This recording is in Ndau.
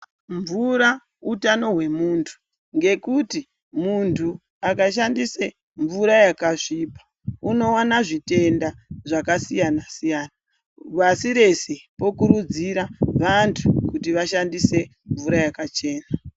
Mvura utano wemuntu ngekuti muntu akashandise mvura yakasvipa unowana zvitenda zvakasiyana siyana, pasi rese tokurudzira vantu kuti vashandise mvura yakachena.